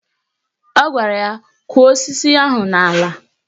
Ọ gwara ya " Kọ̀ọ́ osisi ahụ n'ala"